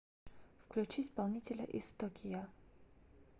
включи исполнителя истокия